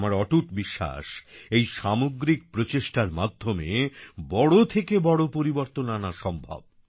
আমার অটুট বিশ্বাস এই সামগ্রিক প্রচেষ্টার মাধ্যমে বড় থেকে বড় পরিবর্তন আনা সম্ভব